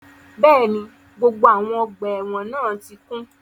Bẹ́ẹ̀ni, gbogbo awọn ọgba ẹ́wọ̀n náà ti kun